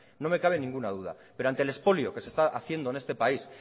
no me cabe ninguna duda pero ante el expolio que se está haciendo en este país